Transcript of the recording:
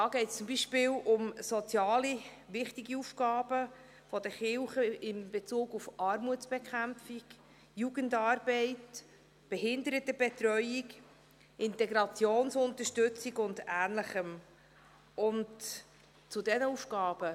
Hier geht es zum Beispiel um wichtige soziale Aufgaben, welche die Kirchen in den Bereichen Armutsbekämpfung, Jugendarbeit, Behindertenbetreuung, Integrationsunterstützung und Ähnlichem leisten.